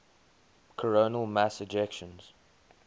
coronal mass ejections